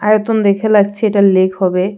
আয়তন দেখে লাগছে এটা লেক হবে.